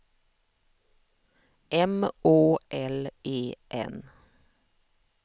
M Å L E N